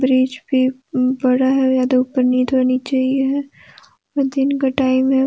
Bridge पे नीचे ही है और दिन का टाइम है।